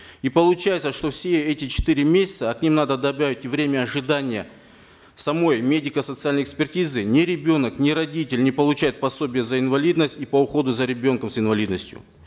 и получается что все эти четыре месяца а к ним надо добавить и время ожидания самой медико социальной экспертизы ни ребенок ни родители не получают пособие за инвалидность и по уходу за ребенком с инвалидностью